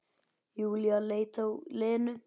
Júlía leit á Lenu.